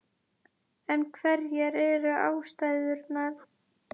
En hverjar eru ástæðurnar?